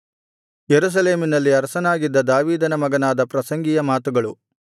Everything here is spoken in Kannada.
ಯೆರೂಸಲೇಮಿನಲ್ಲಿ ಅರಸನಾಗಿದ್ದ ದಾವೀದನ ಮಗನಾದ ಪ್ರಸಂಗಿಯ ಮಾತುಗಳು